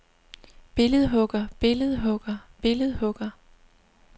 billedhugger billedhugger billedhugger